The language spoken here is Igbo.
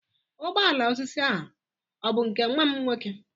Ụgbọ ala osisi a ọ bụ nke nwa m nwoke?